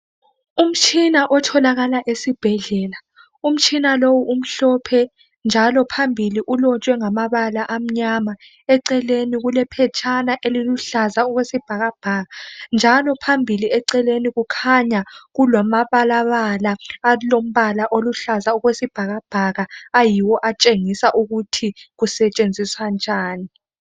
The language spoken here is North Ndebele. umtshina otholakala esibhedlela umtshina lowu umhlophe njalo phambili ulotshwe ngamabala amanyama eceleni kulephetshana eliluhlaza okwesibhakabhaka njalo phambili eceleni kukhanya kulamabalabala alombala oluhlaza okwesibhakabhaka ayiwo atshengisa ukuthi kusetshenziswa njani